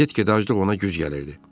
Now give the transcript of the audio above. Get-gedə aclıq ona güc gəlirdi.